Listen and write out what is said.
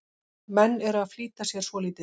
Menn eru að flýta sér svolítið.